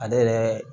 Ale yɛrɛ